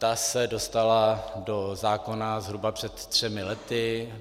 Ta se dostala do zákona zhruba před třemi lety.